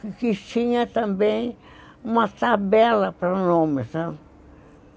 Que tinha também uma tabela para nomes, né?